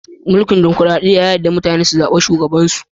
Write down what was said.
Mulki'n dimokuradiyya na yarda mutane su zaba shugaban su.